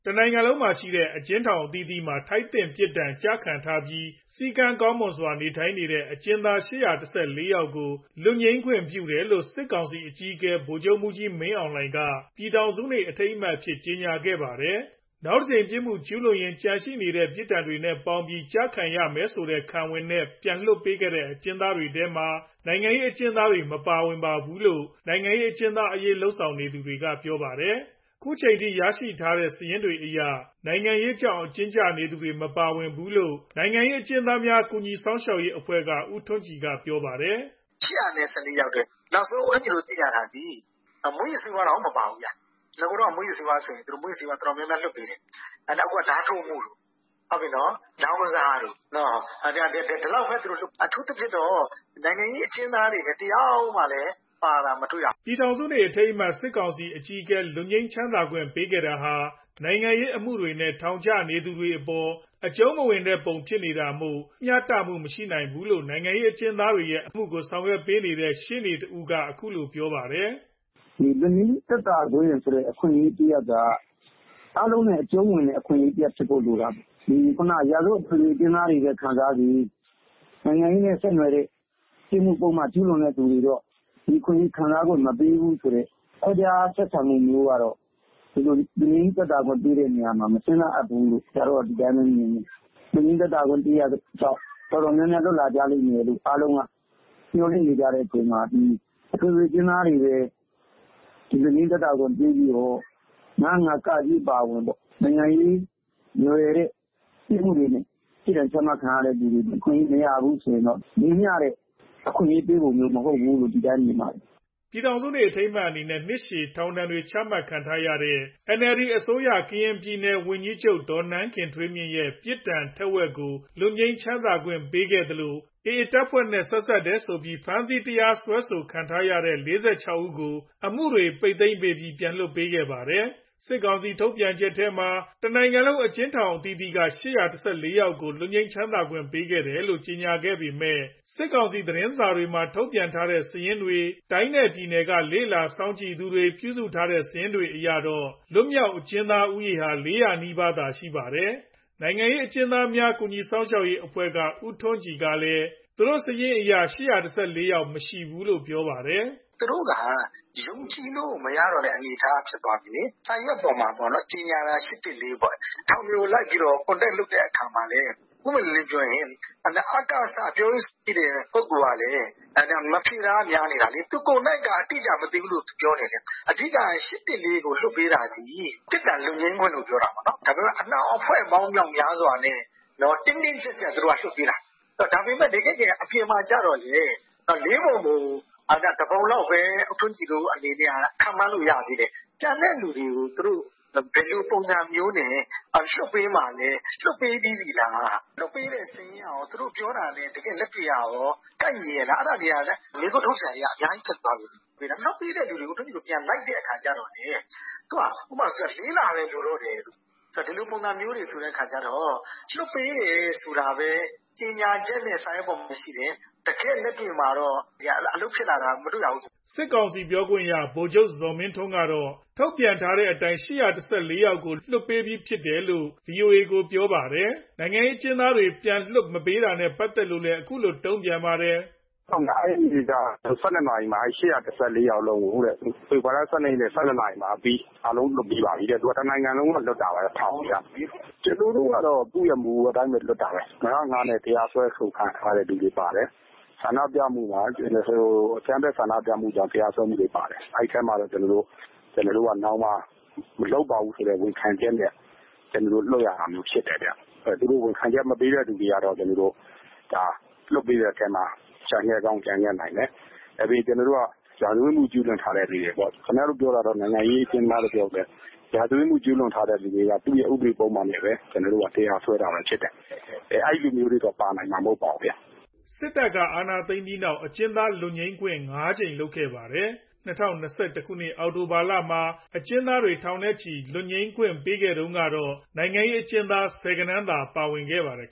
တနိုင်ငံလုံးမှာရှိတဲ့ အကျဉ်းထောင်အသီးသီးမှာ ထိုက်သင့်ပြစ်ဒဏ် ကျခံထားပြီး စည်းကမ်းကောင်းမွန်စွာနေထိုင်နေတဲ့ အကျဉ်းသား ၈၁၄ ယောက်ကို လွတ်ငြိမ်းခွင့်ပြုတယ်လို့ စစ်ကောင်စီအကြီးအကဲ ဗိုလ်ချုပ်မှူးကြီးမင်းအောင်လှိုင်က ပြည်ထောင်စုနေ့အထိမ်းအမှတ်အဖြစ်ကြေညာခဲ့ပါတယ်။ နောက်တကြိမ်ပြစ်မှု ကျူးလွန်ရင် ကျန်ရှိနေတဲ့ ပြစ်ဒဏ်တွေနဲ့ ပေါင်းပြီးကျခံရမယ်ဆိုတဲ့ ခံဝန်နဲ့ ပြန်လွှတ်ပေးခဲ့တဲ့ အကျဉ်းသားတွေထဲမှာ နိုင်ငံရေးအကျဉ်းသားတွေ မပါဘူးလို့ နိုင်ငံရေးအကျဉ်းသားအရေး လုပ်နေသူတွေက ပြောပါတယ်။ ခုချိန်ထိရရှိတဲ့ စာရင်းတွေအရ နိုင်ငံရေးကြောင်း အကျဉ်းကျနေသူတွေ မပါဘူးလို့ နိုင်ငံရေး အကျဉ်းသားများကူညီစောင့်ရှောက်ရေးအဖွဲ့က ဦးထွန်းကြည်က ပြောပါတယ်။ " ၈၁၄ ယောက်တဲ့ နောက်ဆုံး ဦးထွန်းကြည်တို့ သိတာသည် မူးယစ်ဆေးဝါးတောင်မပါဘူး။ နဂိုကဆို မူးယစ်ဆေးဝါးသမားတွေ တော်တော်များများ လွတ်ပေးတယ်။ အခုက ဓါးထိုးမှုတို့ လောင်းကစားတို့ ဒီလောက်ဘဲလွတ်တယ်။ အထူးသဖြင့်တော့ နိုင်ငံရေးအကျဉ်းသားတွေ တယောက်မှပါတာမတွေ့ရဘူး" ပြည်ထောင်စုနေ့ အထိမ်းအမှတ် စစ်ကောင်စီအကြီးအကဲ လွတ်ငြိမ်းခွင့်ပေးခဲ့တာဟာ နိုင်ငံရေးအမှုတွေနဲ့ ထောင်ကျနေသူတွေအပေါ် အကျူံးမဝင်တဲ့ပုံဖြစ်နေတာမို့ မ ျှတမှု မရှိဘူးလို့ နိုင်ငံရေးအကျဉ်းသားတွေအမှုကို ရှေ့နေလိုက်ပေးသူရှေ့နေက ခုလိုပြောပါတယ်။ " လွတ်ငြိမ်းသက်သာခွင့်ဆိုတဲ့ အခွင့်အရေးတရပ်က အားလုံးနဲ့ အကျုံးဝင်တဲ့ အခွင့်အရေးတရပ်ဖြစ်ဖို့လိုတာပေါ့ ။ ရာဇဝတ်အထွေထွေ အကျဉ်းသားတွေပဲ ခံစားစေ နိုင်ငံရေးနဲ့ ဆက်နွယ်တဲ့ ပြစ်မှုကျူးလွန်သူတွေတော့ ဒီအခွင့်အရေးခံစားခွင့်မပေးဘူးဆိုတဲ့ ခွဲခြားဆက်ဆံမှုမျိုးကတော့ ဒီလိုလွတ်ငြိမ်းခွင့်ပေးတဲ့နေရာမှာ မစဉ်းစားသင့်ဘူးလို့ ဒီတိုင်းဘဲမြင်တယ်။ လွတ်ငြိမ်းကြောင့် တော်တော်များများ လွတ်လာမယ်လို့ မျှော်လင့်နေချိန် အထွေထွေ အကျဉ်းသားတွေဘဲ လွတ်ငြိမ်းသက်သာခွင့်ပေးပြီးတော့ ၅၀၅ အပါအဝင် နိုင်ငံရေးနွယ်တဲ့ ပြစ်မှုတွေနဲ့ပြစ်ဒဏ်ချခံရသူတွေမပါဘူးဆိုတာတော့ ညီမျှတဲ့ အခွင့်အရေးပေးပုံမျိုးမ ဟုတ်ဘူးလို့ဘဲမြင်ပါတယ် " ပြည်ထောင်စုနေ့ အထိမ်းအမှတ်နဲ့ နှစ်ရှည်ထောင်ဒဏ်တွေချခံထားရတဲ့ NLD အစိုးရ ကရင်ပြည်နယ်ဝန်ကြီးချုပ် ဒေါ်နန်းခင်ထွေးမြင့်ရဲ့ ပြစ်ဒဏ် ထက်ဝက်ကာလ လွတ်ငြိမ်းခွင့်ပေးခဲ့သလို AA အဖွဲ့နဲ့ ဆက်စပ်တယ်ဆိုပြီး ဖမ်းဆီးတရားစွဲဆိုထားတဲ့ ၄၆ ဦးကို အမှုတွေပိတ် သိမ်းပြီး ပြန်လွှတ်ပေးခဲ့ပါတယ်။ စစ်ကောင်စီထုတ်ပြန်ချက်မှာ တနိုင်ငံလုံး အကျဉ်းထောင်အသီးသီးကနေ ၈၁၄ ယောက်ကို လွတ်ငြိမ်းခွင့်ပေးတယ်လို့ ကြေညာပေမဲ့ စစ်ကောင်စီသတင်းစာတွေမှာ ထုတ်ပြန်တဲ့ စာရင်းတွေ၊ တိုင်းနဲ့ပြည်နယ်က လေ့လာစောင့်ကြည့်သူတွေ ပြုစုထားတဲ့ စာရင်းတွေအရတော့ လွတ်မြောက် အကျဉ်းသားဦးရေဟာ ၄ဝဝ နီးပါးသာရှိပါတယ်။ နိုင်ငံရေး အကျဉ်းသားများကူညီစောင့်ရှောက်ရေးအဖွဲ့က ဦးထွန်းကြည်ကလည်း သူတို့စာရင်းအရ ၈၁၄ ယောက် မရှိဘူးလို့ပြောပါတယ်။ " သူတို့က ယုံကြည်လို့မရတဲ့ အနေအထားဖြစ်သွားပြီလေ။ စာရွက်ပေါ် မှာကြေငြာတာ ၈၁၄ပေါ့။ ထောင်တွေလိုက် ကွန်တက်လုပ်တဲ့ အခါမှာလဲပွင့်ပွင့်လင်းလင်းပြောရင် အကစ ပြောရေးဆိုခွင့်ရှိတဲ့ ပုဂ္ဂိုလ်ကလည်း မဖြေတာကများနေတာလေ။ သူကိုယ်တိုင်မသိဘူးလို့ ပြောနေတယ်။ အဓိက ၈၁၄ကိုလွတ်ပေးတာသည် ပြစ်ဒဏ်လွတ်ငြိမ်းခွင့်လို့ပြောတယ်။ တကယ့်တကယ်ကကျတော့ အနှောင်အဖွဲ့များစွာနဲ့ တင်းတင်းကြပ်ကြပ်လွတ်ပေးတာ။ တကယ်တကယ်အပြင် မှာကျတော့ ၄ပုံပုံ တပုံလောက်ဘဲ ဦးထွန်းကြည်ခန့်မှန်းလို့ရသေးတယ်။ ကျန်တဲ့သူတွေကိုဘယ်လိုပုံနဲ့ လွတ်ပေးမှာလဲ။ လွတ်ပေးပြီးပြီလား။ လွတ်ပေးတဲ့စာရင်းကကောသူတို့ပြောတာနဲ့ တကယ်လက်တွေ့ ကကော ကိုက်ညီရဲ့လား။ အဲဒါတွေကမေးခွန်းထုတ်စရာဖြစ်သွားတယ်။ လွတ်ပေးတဲ့သူတွေကို လိုက်တော့လဲ လွတ်ဖို့ ၄ လဘဲလိုတယ်တို့ ဒီလိုပုံဆိုတော့ လွတ်ပေးတယ်ဆိုတာဘဲ ကြေငြာချက်နဲ့စာရွက် ပေါ်မှာရှိတယ် တကယ့်လက်တွေ့အပေါ်မှာတော့ အလုပ်ဖြစ်တာမတွေ့ရဘူး " စစ်ကောင်စီပြောခွင့်ရ ဗိုလ်ချုပ်ဇော်မင်းထွန်း ကတော့ ထုတ်ပြန်ထားတဲ့အတိုင်း ၈၁၄ ယောက်ကို လွှတ်ပေးပြီးဖြစ်တယ်လို့ ဗီအိုအေကို ပြောပါတယ်။ နိုင်ငံရေးအကျဉ်းသားတွေ ပြန်မလွှတ်တာနဲ့ ပါတ်သက်လို့လည်း ခုလို တုံ့ပြန်ပါတယ်။ " အဲနေ့က ၁၂နာရီမှာ ၈၁၄ယောက်စလုံးကို ဖေဖော်ဝါရီလ ၁၂ရက် နေ့ ၁၂နာရီအပြီး အားလုံးလွတ်ပြီးပါပြီ။ တနိုင်ငံလုံးကထောင်အသီးသီးကနေ လွတ်တာဗျ ထောင်တွေ က။ ကျနော်တို့ကတော့ သူ့မူအတိုင်းဘဲလွတ်တာဘဲ။ ၅ဝ၅ နဲ့တရားစွဲဆိုခံထားရသူတွေပါတယ်။ ဆန္ဒပြမှုမှာ အကြမ်းဖက်ဆန္ဒပြမှုကြောင့် တရားစွဲခံရသူတွေပါတယ်။ အဲထဲမှာတော့ကျနော်တို့ နောင်မှာမလုပ်ပါဘူးဝန်ခံချက်နဲ့ ကျနော်တို့လွတ်ရတာမျိုးဖြစ်တယ်ဗျ။ ဝန်ခံချက်မပေးသူတွေကတော့ ကျနော်တို့ လွတ်ပေးတဲ့အထဲ ကျန်ခဲ့ကောင်း ကျန်ခဲ့နိုင်တယ်။ ပြီးရာဇဝတ်မှုကျူးလွန်ထားသူတွေပေါ့။ ခင်ဗျားတို့ ပြောတာတော့နိုင်ငံရေး အကျဉ်းသားလို့ပြောပေမယ့် ရာဇဝတ်မှုကျူးလွန်ထားသူတွေက သူ့ရဲ့ ဥပဒေပုဒ်မနဲ့ပဲ တရားစွဲဆိုထားတာဖြစ်တယ်။ အဲလူမျိုးတွေတော့ ပါနိုင်မှာမဟုတ်ပါဘူးဗျာ " စစ်တပ်က အာဏာသိမ်းခဲ့ပြီးနောက် အကျဉ်းသားလွတ်ငြိမ်းခွင့် ၅ ကြိမ်လုပ်ခဲ့ပါတယ်။ ၂ဝ၂၁ ခုနှစ်အောက်တိုဘာလမှာ အကျဉ်းသားထောင်နဲ့ချီ လွတ်ငြိမ်းခွင့်ပေးခဲ့တုံးကတော့ နိုင်ငံရေးအကျဉ်းသား ဆယ်ဂဏန်းသာ ပါခဲ့ပါတယ်